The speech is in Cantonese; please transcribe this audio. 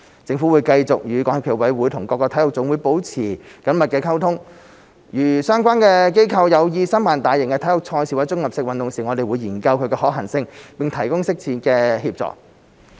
政府會繼續與港協暨奧委會及各體育總會保持緊密溝通，如相關機構有意申辦大型體育賽事或綜合性運動會時，我們會研究其可行性，並提供適切的協助。